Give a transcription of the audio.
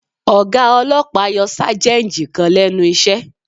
Ọ̀gá ọlọ́pàá yọ Sájẹ́ǹjì kan lẹ́nu iṣẹ́